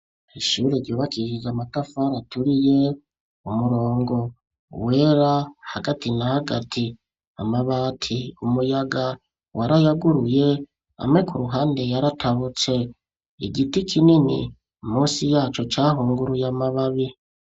Ishure ryubakishije, amatafari aturiye; umurongo wera, hagati na hagati; amabati, umuyaga warayaguruye, amwe ku ruhande, yaratabutse; igiti kinini, munsi yaco, cahunguruye, amababi.